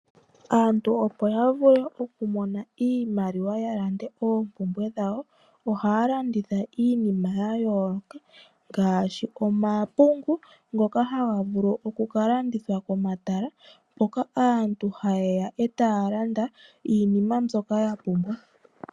Aantu opo ya vule okumona iimaliwa ya lande oompumbwe dhawo ohaya landitha iinima ya yooloka ngaashi omapungu ngoka haga vulu oku kalandithwa komatala mpoka aantu haye ya eta ya landa iinima yawo mbyoka ya pumbwa.